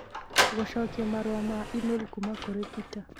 gũcokia marũa ma e-mail kuuma kũrĩ Peter